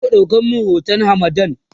zaku ɗauko min hoton hamadan?